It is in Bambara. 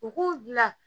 U k'u dilan